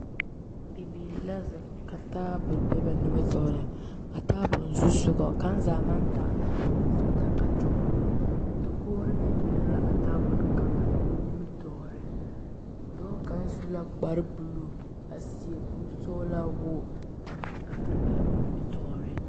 Bibiire la zeŋ ka taabo be ba nimitooreŋ a taaboore zusugɔ kaŋ zaa maŋ taa loo kɔmpiuta a kyɔgrɔ dokogre meŋ biŋ la a tabole kaŋ nimitooreŋ dɔɔ kaŋ su la kpare bluu a seɛ kurisɔglaa woge a meŋ are a nimitooreŋ.